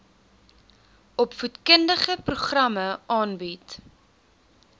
opvoedkundige programme aanbied